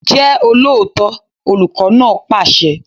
Jẹ́ olóòótọ́! Olùkọ́ náà pàṣẹ.